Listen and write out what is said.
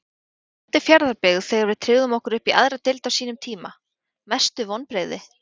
á móti fjarðabyggð þegar við tryggðum okkur uppí aðra deild á sínum tíma Mestu vonbrigði?